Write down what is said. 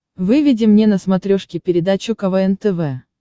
выведи мне на смотрешке передачу квн тв